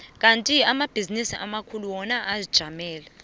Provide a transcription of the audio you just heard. kandi amabhizinisi amakhulu wona azijamele